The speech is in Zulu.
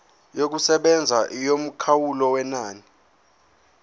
yokusebenza yomkhawulo wenani